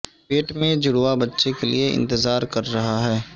پیٹ میں جڑواں بچے کے لئے انتظار کر رہا ہے